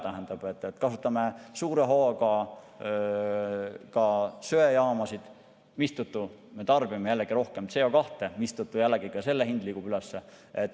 Tähendab, kasutame suure hooga ka söejaamasid, mistõttu me tarbime jällegi rohkem CO2, mistõttu jällegi ka selle hind liigub üles.